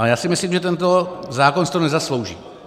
A já si myslím, že tento zákon si to nezaslouží.